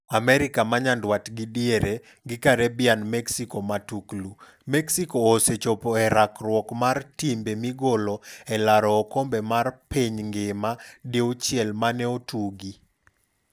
AMERIKA MA NYANDWAT GI DIERE gi CARIBBEAN Mexico Matuklu: Mexico osechopo e rakruok mar timbe migolo e laro okombe mar piny ngima diuchiel mane otugi.